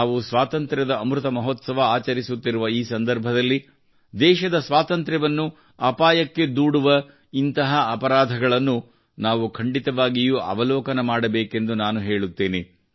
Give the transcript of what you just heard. ನಾವು ಸ್ವಾತಂತ್ರ್ಯದ ಅಮೃತ ಮಹೋತ್ಸವ ಆಚರಿಸುತ್ತಿರುವ ಈ ಸಮಯದಲ್ಲಿ ದೇಶದ ಸ್ವಾತಂತ್ರ್ಯವನ್ನು ಅಪಾಯಕ್ಕೆ ದೂಡುವ ಇಂತಹ ಅಪರಾಧಗಳನ್ನು ನಾವು ಖಂಡಿತವಾಗಿಯೂ ಅವಲೋಕನ ಮಾಡಬೇಕೆಂದು ನಾನು ಹೇಳುತ್ತೇನೆ